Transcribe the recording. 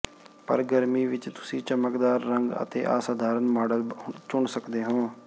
ਪਰ ਗਰਮੀ ਵਿੱਚ ਤੁਸੀਂ ਚਮਕਦਾਰ ਰੰਗ ਅਤੇ ਅਸਾਧਾਰਨ ਮਾਡਲ ਚੁਣ ਸਕਦੇ ਹੋ